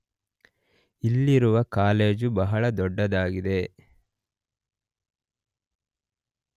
ಇಲ್ಲಿರುವ ಕಾಲೇಜು ಬಹಳ ದೊಡ್ಡದಾಗಿದೆ.